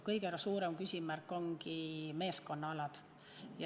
Kõige suurem küsimärk ongi meeskonnaalad.